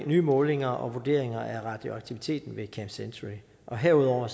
nye målinger og vurderinger af radioaktiviteten ved camp century herudover